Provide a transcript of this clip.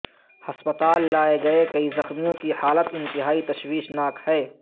ہسپتال لائے گئے کئی زخمیوں کی حالت انتہائی تشویشناک ہے